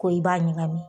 Ko i b'a ɲagami